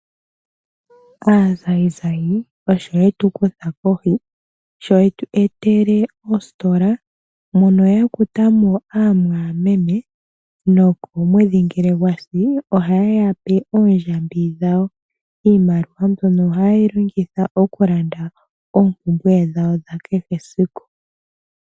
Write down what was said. Aazayizayi osho yetu kutha kohi, sho yetu etele oositola mono ya kuta mo amwaameme, nomwedhi ngele gwasi ohaye yape oondjambi dhawo. Iimaliwa mbyono oha yeyi longitha oku landa oompumbwe dhawo dha kehe esiku.